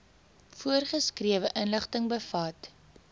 voorgeskrewe inligting bevat